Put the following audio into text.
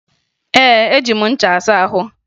Ee, eji m ncha asa ahụ